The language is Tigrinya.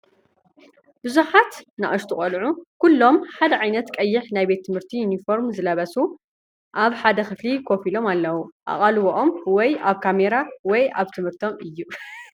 ብዙሓትንኣሽቱ ቆልዑ፡ ኩሎም ሓደ ዓይነት ቀይሕ ናይ ቤት ትምህርቲ ዩኒፎርም ዝለበሱ፡ ኣብ ሓደ ክፍሊ ኮፍ ኢሎም ኣለዉ። ኣቓልቦኦም ወይ ኣብ ካሜራ ወይ ኣብ ትምህርቶም እዩ።